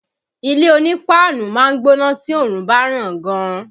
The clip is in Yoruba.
Ilé onípáánù máa ń gbóná tí oòrùn bá ràn gan